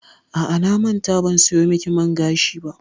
A'a, na manta ban sayo miki man gashi ba.